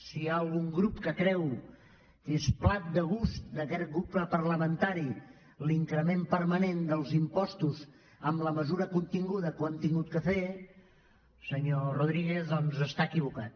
si hi ha algun grup que creu que és plat de gust d’aquest grup parlamentari l’increment permanent dels impostos amb la mesura continguda que ho hem hagut de fer senyor rodríguez doncs està equivocat